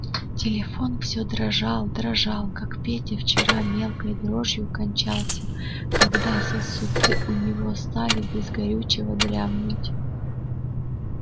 телефон всё дрожал дрожал как петя вчера мелкой дрожью кончался когда сосуды у него стали без горючего дрябнуть